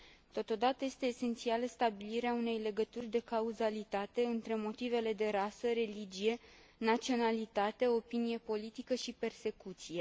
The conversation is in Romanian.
Totodată, este esențială stabilirea unei legături de cauzalitate între motivele de rasă, religie, naționalitate, opinie politică și persecuție.